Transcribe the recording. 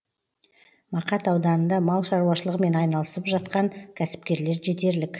мақат ауданында мал шаруашылығымен айналысып атқан кәсіпкерлер жетерлік